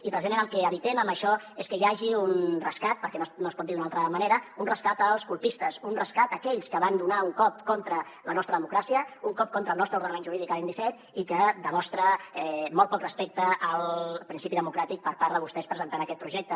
i precisament el que evitem amb això és que hi hagi un rescat perquè no es pot dir d’una altra manera un rescat als colpistes un rescat a aquells que van donar un cop contra la nostra democràcia un cop contra el nostre ordenament jurídic l’any disset i que demostra molt poc respecte al principi democràtic per part de vostès presentant aquest projecte